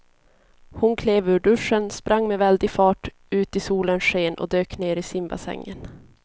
Hon klev ur duschen, sprang med väldig fart ut i solens sken och dök ner i simbassängen.